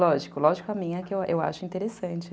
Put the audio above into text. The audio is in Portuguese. Lógico, lógico, a minha eu acho interessante.